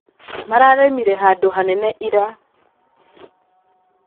Mararĩmire handũ hanene ira.